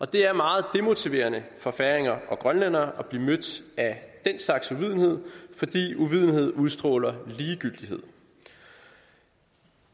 det er meget demotiverende for færinger og grønlændere at blive mødt af den slags uvidenhed fordi uvidenhed udstråler ligegyldighed